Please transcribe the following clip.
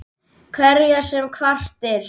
Hverjar sem hvatir